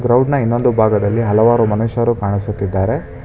ಗ್ರೌಂಡ್ನ ಇನ್ನೊಂದು ಭಾಗದಲ್ಲಿ ಹಲವಾರು ಮನುಷ್ಯರು ಕಾಣಿಸುತ್ತಿದ್ದಾರೆ.